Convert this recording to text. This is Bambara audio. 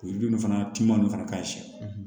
O yiriden ninnu fana tun fana ka ɲi siyɛn